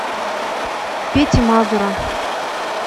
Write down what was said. пети мазура